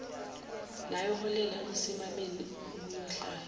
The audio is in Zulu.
nayoholela ekusimameni okuyohlala